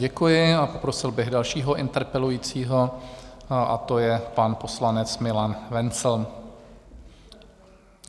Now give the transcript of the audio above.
Děkuji a poprosil bych dalšího interpelujícího, a to je pan poslanec Milan Wenzl.